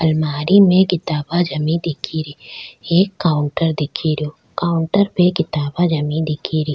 अलमारी में किताबे जमी दिखेरी एक काउंटर दिख रियो काउंटर पे किताबा जमी दिखेरी।